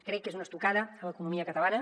crec que és una estocada a l’economia catalana